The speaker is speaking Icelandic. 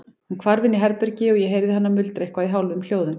Hún hvarf inn í herbergi og ég heyrði hana muldra eitthvað í hálfum hljóðum.